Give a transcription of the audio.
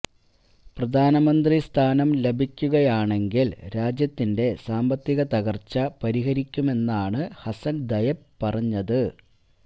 പ്രധാനമന്ത്രി സ്ഥാനം ലഭിക്കുകയാണെങ്കില് രാജ്യത്തിന്റെ സാമ്പത്തിക തകര്ച്ച പരിഹരിക്കുമെന്നാണ് ഹസന് ദയബ് പറഞ്ഞത്